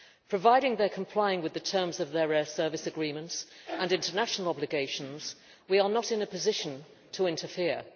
Provided they are complying with the terms of their air service agreements and international obligations, we are not in a position to interfere.